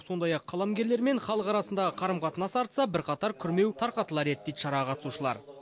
сондай ақ қаламгерлер мен халық арасындағы қарым қатынас артса бірқатар күрмеу тарқатылар еді дейді шараға қатысушылар